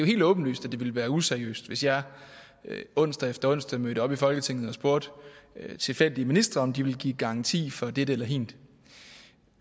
helt åbenlyst at det ville være useriøst hvis jeg onsdag efter onsdag mødte op i folketinget og spurgte tilfældige ministre om de ville give en garanti for dette eller hint